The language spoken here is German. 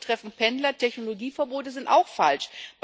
Fahrverbote treffen Pendler, Technologieverbote sind auch falsch.